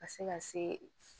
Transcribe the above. Ka se ka se